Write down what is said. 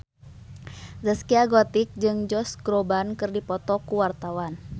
Zaskia Gotik jeung Josh Groban keur dipoto ku wartawan